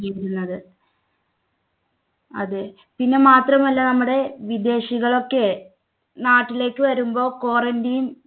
ഇരുന്നത് അതെ പിന്നെ മാത്രമല്ല നമ്മുടെ വിദേശികളൊക്കെ നാട്ടിലേക്ക് വരുമ്പോൾ quarantine